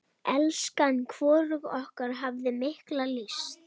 Hvorug okkar hafði mikla lyst.